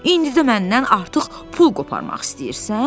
İndi də məndən artıq pul qoparmaq istəyirsən?